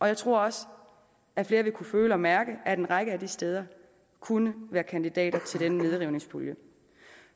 jeg tror også at flere vil kunne føle og mærke at en række af de steder kunne være kandidater til den nedrivningspulje